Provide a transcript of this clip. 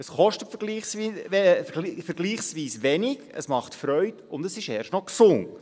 Es kostet vergleichsweise wenig, es macht Freude, und es ist erst noch gesund.